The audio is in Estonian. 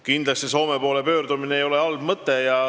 Kindlasti ei ole Soome poole pöördumine halb mõte.